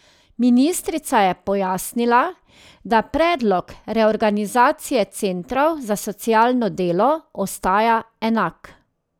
Ministrica je pojasnila, da predlog reorganizacije centrov za socialno delo ostaja enak.